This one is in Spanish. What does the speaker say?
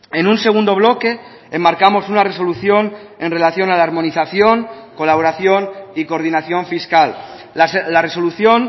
en un segundo bloque enmarcamos una resolución en relación a la armonización colaboración y coordinación fiscal la resolución